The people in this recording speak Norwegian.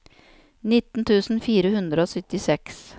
nitten tusen fire hundre og syttiseks